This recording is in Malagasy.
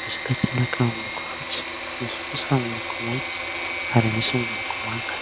misy takelaka miloko maitso, misy kosa ny miloko mainty ary misy miloko manga.